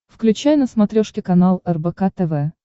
включай на смотрешке канал рбк тв